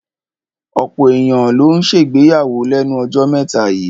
Ọ̀pọ̀ èyàn ló ń ṣègbéyàwó lẹ́nu jọ́ mẹ́ta yíì.